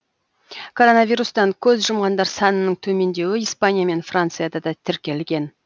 коронавирустан көз жұмғандар санының төмендеуі испания мен францияда да тіркелген